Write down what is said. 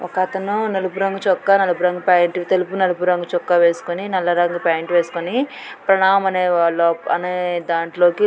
ఒకతను నలుపు రంగు చొక్క నలుపు రంగు ప్యాంటు తెలుపు నలుపు రంగు చొక్క వేసుకొని నల్ల రంగు ప్యాంటు వేసుకుని ప్రణామ్ అనే దాంట్లోకి